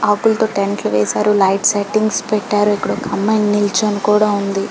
ఆకులతో టెంట్లు వేశారు లైట్ సెట్టింగ్ పెట్టారు ఇక్కడ ఒక్క అమ్మాయి నిల్చొని కూడా ఉంది